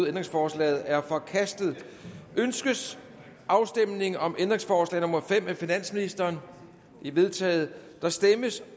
ændringsforslaget er forkastet ønskes afstemning om ændringsforslag nummer fem af finansministeren det er vedtaget der stemmes